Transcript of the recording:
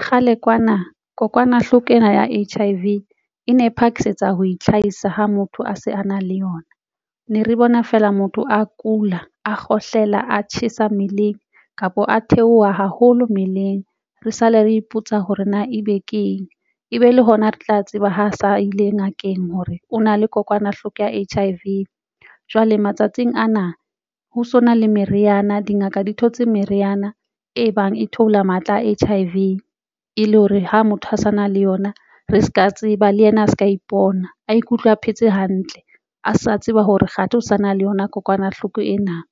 Kgale kwana kokwanahloko ena ya H_I_V e ne phakisetsa ho itlhahisa ha motho a se a na le yona. Ne re bona fela motho a kula, a kgohlela, a tjhesa mmeleng kapo a theoha haholo mmeleng. Re sale re ipotsa hore na ebe ke eng, ebe le hona re tla tseba ho sa ile ngakeng hore o na le kokwanahloko ya H_I_V jwale matsatsing ana ho so na le meriana, dingaka di thotse meriana e bang e theola matla a H_I_V e le hore ha motho a sa na le yona, re se ka tseba le yena a se ka ipona a ikutlwe a phetse hantle, a sa tseba hore kgathi ho sa na le yona kokwanahloko ena.